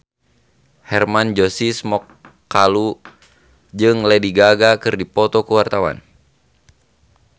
Hermann Josis Mokalu jeung Lady Gaga keur dipoto ku wartawan